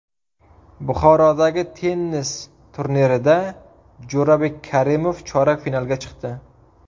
Buxorodagi tennis turnirida Jo‘rabek Karimov chorak finalga chiqdi.